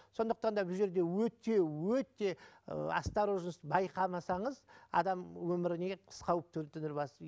сондықтан да бұл жерде өте өте ы осторожность байқамасаңыз адам өміріне қауіп төндіріп аласыз